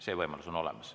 See võimalus on olemas.